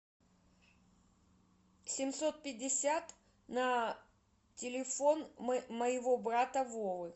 семьсот пятьдесят на телефон моего брата вовы